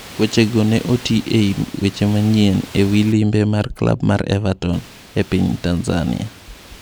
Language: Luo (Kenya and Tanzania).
Weche go ne otii ei weche manyien ewii limbe mar klab mar Everton epiny Tanzania.